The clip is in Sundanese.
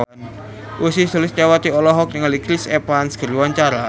Ussy Sulistyawati olohok ningali Chris Evans keur diwawancara